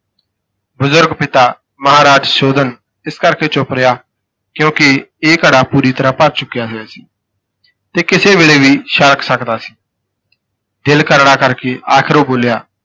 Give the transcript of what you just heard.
ਬਜ਼ੁਰਗ ਪਿਤਾ ਮਹਾਰਾਜ ਸੁਸ਼ੋਧਨ ਇਸ ਕਰਕੇ ਚੁਪ ਰਿਹਾ ਕਿਉਂਕਿ ਇਹ ਘੜਾ ਪੂਰੀ ਤਰ੍ਹਾਂ ਭਰ ਚੁੱਕਿਆ ਹੋਇਆ ਸੀ ਤੇ ਕਿਸੇ ਵੇਲੇ ਵੀ ਛਲਕ ਸਕਦਾ ਸੀ ਦਿਲ ਕਰੜਾ ਕਰਕੇ ਆਖਿਰ ਉਹ ਬੋਲਿਆ,